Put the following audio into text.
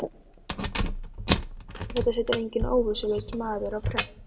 GRÍMUR: Já, en þetta setur enginn óvitlaus maður á prent.